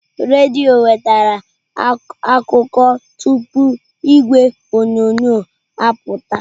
Redio wetara akụkọ tụpụ igwe onyonyo apụta.